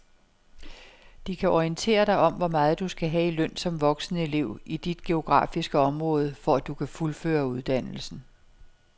De kan orientere dig om hvor meget du skal have i løn som voksenelev i dit geografiske område, for at du kan fuldføre uddannelsen.